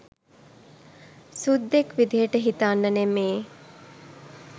සුද්දෙක් විදියට හිතන්න නෙමේ